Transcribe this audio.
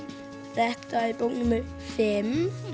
þetta er bók númer fimm